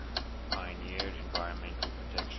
pioneered environmental protection